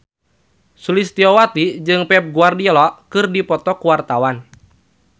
Sulistyowati jeung Pep Guardiola keur dipoto ku wartawan